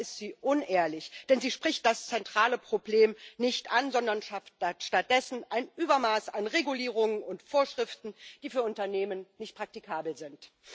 Dabei ist sie unehrlich, denn sie spricht das zentrale Problem nicht an, sondern schafft stattdessen ein Übermaß an Regulierungen und Vorschriften, die für Unternehmen nicht praktikabel sind.